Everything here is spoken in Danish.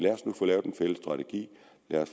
jeg